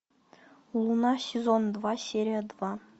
луна сезон два серия два